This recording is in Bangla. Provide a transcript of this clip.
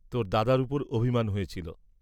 তোর দাদার উপর অভিমান হয়েছিল।